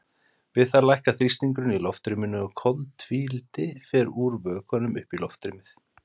Við það lækkar þrýstingurinn í loftrýminu og koltvíildi fer úr vökvanum upp í loftrýmið.